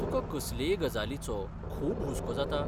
तुका कसलेय गजालीचो खूब हुस्को जाता?